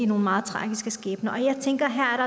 nogle meget tragiske skæbner og jeg tænker at her er